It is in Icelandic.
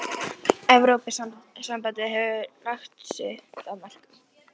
Ég kem kannski að einhverju í þessa veru síðar.